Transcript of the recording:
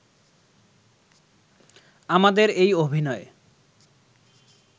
আমাদের এই অভিনয়